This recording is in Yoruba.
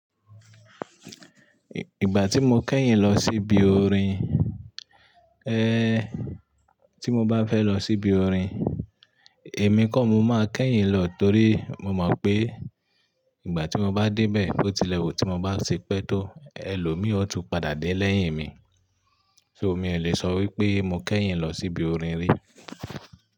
Ìgbà tí mo kẹ́yìn lọ síbi orin, tí mo bá fẹ́ lọ síbi orin, èmi kọ́ mo máa kẹ́yìn lọ torí mo mọ̀ pé ìgbà tí mo bá dé bẹ́ẹ̀, bó tilẹ̀ wù tí mo bá ṣe pẹ́ tó, ẹlòmíì ọ̀ tún padà dé lẹ́yìn mi. So mi ò lè sọ wípé mo kẹ́yìn lọ síbi orin rí.